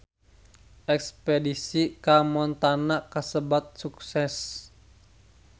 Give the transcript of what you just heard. Espedisi ka Montana kasebat sukses